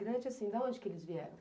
Imigrante, assim, da onde que eles vieram?